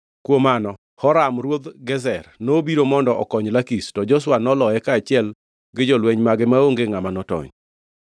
Kuom mano, Horam ruodh Gezer nobiro mondo okony Lakish, to Joshua noloye kaachiel gi jolweny mage maonge ngʼama notony.